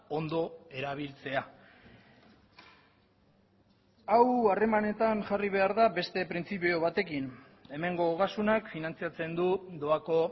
ondo erabiltzea hau harremanetan jarri behar da beste printzipio batekin hemengo ogasunak finantzatzen du doako